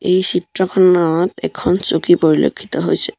এই চিত্ৰখনত এখন চকী পৰিলক্ষিত হৈছে।